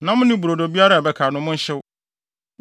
Nam ne brodo biara a ɛbɛka no, monhyew.